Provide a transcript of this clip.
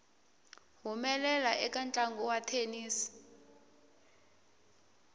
humelela eka ntlangu wa thenisi